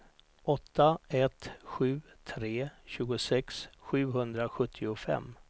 åtta ett sju tre tjugosex sjuhundrasjuttiofem